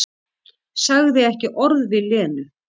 Sagði ekki orð við Lenu.